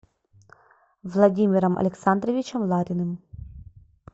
владимиром александровичем лариным